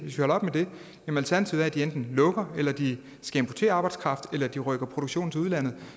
lukker eller at de skal importere arbejdskraft eller at de rykker produktionen til udlandet